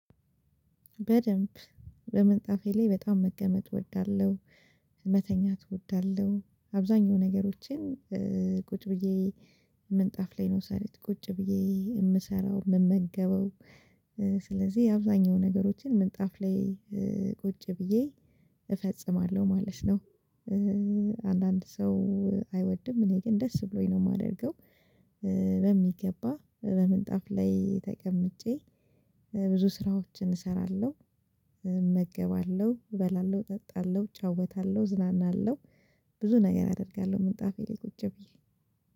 በደንብ በምንጣፌ ላይ በጣም መቀመጥ እወዳለሁ። መተኛት እወዳለሁ አብዛኛው ነገሮችን ቁጭ ብዬ ምንጣፍ ላይ ነው ሰረ ቁጭ ብዬ ምሰራው ምመገበው። ስለዚህ አብዛኛው ነገሮችን ምንጣፍ ላይ ቁጭ ብዬ እፈጽማለሁ ማለት ነው። አንዳንድ ሰው አይወድም እኔ ግን ደስ ብሎኝ ነው ማደርገው። በሚገባ በምንጣፍ ላይ ተቀምጬ ብዙ ስራዎችን እሰራለሁ። እመገባለሁ እበላለሁ እጠጣለሁ እጫወታለሁ እዝናናለሁ። ብዙ ነገር አደርጋለሁ ምንጣፌ ላይ ቁጭ ብዬ